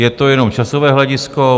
Je to jenom časové hledisko.